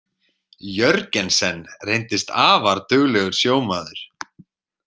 Jörgensen reyndist afar duglegur sjómaður.